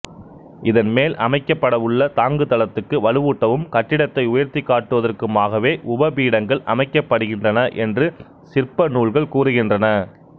இதன்மேல் அமைக்கப்படவுள்ள தாங்குதளத்துக்கு வலுவூட்டவும் கட்டிடத்தை உயர்த்திக் காட்டுவதற்குமாகவே உபபீடங்கள் அமைக்கப்படுகின்றன என்று சிற்பநூல்கள் கூறுகின்றன